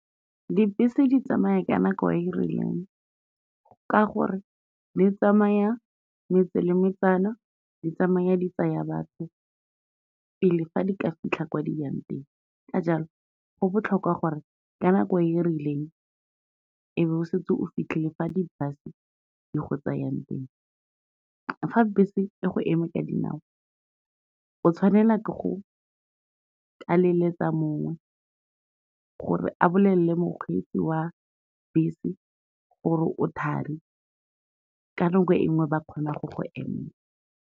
Dibese di tsamaya ka nako e e rileng, ka gore di tsamaya metse le metsana di tsamaya di tsaya batho, pele fa di ka fitlha kwa diyang teng, ka jalo go botlhokwa gore ka nako e rileng, e be o setse o fitlhile fa di-bus-e di go tsayang teng. Fa bese e go eme ka dinao, o tshwanela ke go ka leletsa mongwe gore a bolelele mokgweetsi wa bese gore o thari, ka nako e nngwe ba kgona go go emela.